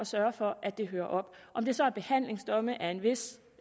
sørge for at det hører op om det så er behandlingsdomme af en vis